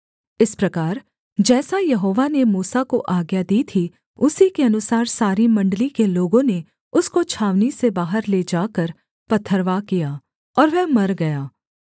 इस प्रकार जैसा यहोवा ने मूसा को आज्ञा दी थी उसी के अनुसार सारी मण्डली के लोगों ने उसको छावनी से बाहर ले जाकर पथरवाह किया और वह मर गया